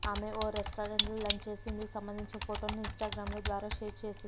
ఆమె ఓ రెస్టారెంట్లో లంచ్ చేసి ఇందుకు సంబంధించిన ఫోటోను ఇన్స్టాగ్రామ్ ద్వారా షేర్ చేసింది